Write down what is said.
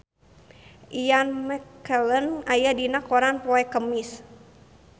Ian McKellen aya dina koran poe Kemis